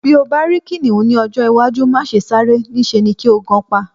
Bí o bá rí kìnìhún ní ọjọ́-iwájú, má se sáré, níṣe ni kí o gan pa.